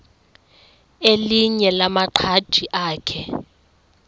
elinye lamaqhaji akhe